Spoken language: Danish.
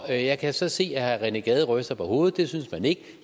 og jeg kan så se at herre rené gade ryster på hovedet det synes man ikke